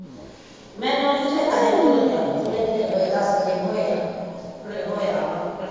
ਮੈਨੂੰ ਅੜੀਏ ਚੇਤਾ ਜਾ ਭੁੱਲ ਗਿਆ ਥੋੜੇ ਕਾ ਦਿਨ ਹੋਏ ਦਸ ਕ ਦਿਨ ਹੋਏ ਆ ਹੁਣੇ ਹੋਇਆ ਵਾ ਭਰਤੀ।